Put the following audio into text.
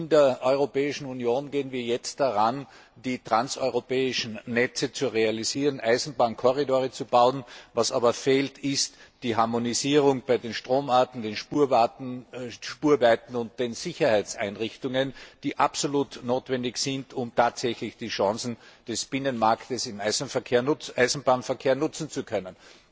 In der Europäischen Union gehen wir jetzt daran, die Transeuropäischen Netze zu realisieren, Eisenbahnkorridore zu bauen. Was aber fehlt ist die Harmonisierung bei den Stromarten, den Spurweiten und den Sicherheitseinrichtungen, die absolut notwendig sind, um die Chancen des Binnenmarkts im Eisenbahnverkehr tatsächlich nutzen zu können.